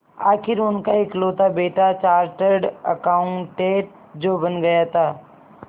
आखिर उनका इकलौता बेटा चार्टेड अकाउंटेंट जो बन गया था